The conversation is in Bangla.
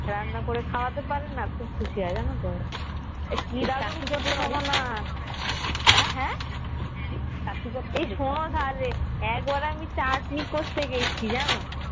রান্না করে খাওয়াতে পারে না খুব খুশি হয়ে জানাতো কি দারুণ করেছে শোনোনা এই শোনোনা রে একবার আমি চাটনি করতে গেছি জানো